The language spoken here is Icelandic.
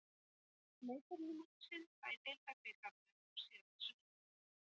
Leikurinn á móti Sindra í deildarbikarnum á síðasta sunnudag.